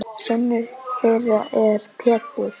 Sonur þeirra er Pétur.